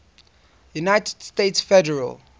united states federal